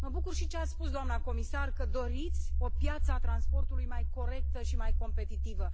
Mă bucur și de ce a spus doamna comisar, că doriți o piață a transportului mai corectă și mai competitivă.